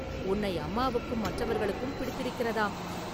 உன்னை அம்மாவுக்கும் மற்றவர்களுக்கும் பிடித்திருக்கிறதாம்.